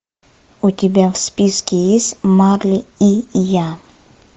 у тебя в списке есть марли и я